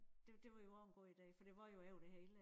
Det det var jo også en god ide for det var jo over det hele